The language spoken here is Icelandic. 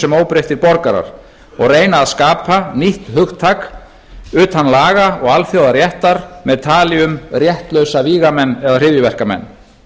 sem óbreyttir borgarar og reyna að skapa nýtt hugtak utan laga og alþjóðaréttar með tali um réttlausa vígamenn eða hryðjuverkamenn